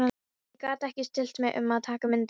Ég gat ekki stillt mig um að taka myndaalbúm.